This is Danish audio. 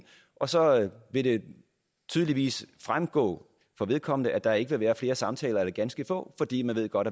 og så vil det tydeligt fremgå for vedkommende at der ikke vil være flere samtaler eller ganske få fordi man godt